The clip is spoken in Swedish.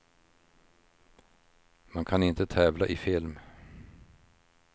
Man kan inte tävla i film.